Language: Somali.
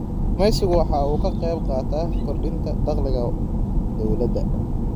Kalluumaysigu waxa uu ka qayb qaataa kordhinta dakhliga dawladda.